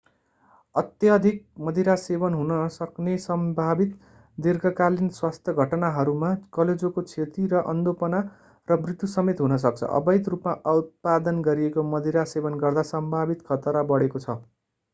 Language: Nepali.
अत्यधिक मदिरा सेवन हुन सक्ने सम्भावित दीर्घकालीन स्वास्थ्य घटनाहरूमा कलेजोको क्षति र अन्धोपना र मृत्युसमेत हुन सक्छ अवैध रूपमा उत्पादन गरिएको मदिरा सेवन गर्दा सम्भावित खतरा बढेको छ